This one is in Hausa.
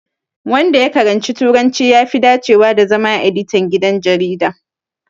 Wanda ya karanci Turanci, ya fi dacewa da zama Editan gidan jarida.